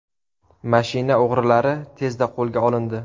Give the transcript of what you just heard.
Mashina o‘g‘rilari tezda qo‘lga olindi.